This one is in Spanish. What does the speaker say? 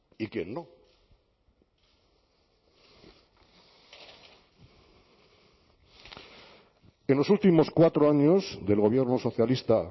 y quién no en los últimos cuatro años del gobierno socialista